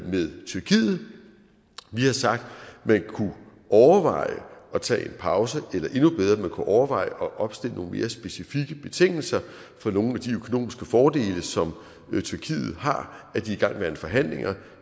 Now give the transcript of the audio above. med tyrkiet vi har sagt man kunne overveje at tage en pause eller endnu bedre man kunne overveje at opstille nogle mere specifikke betingelser for nogle af de økonomiske fordele som tyrkiet har af de igangværende forhandlinger